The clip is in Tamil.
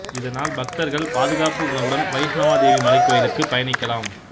இதனால் பக்தர்கள் பாதுகாப்பு உணர்வுடன் வைஷ்ணவ தேவி மலைக்கோயிலுக்கு பயணிக்கலாம்